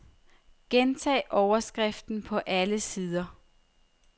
Gentag overskriften på alle sider.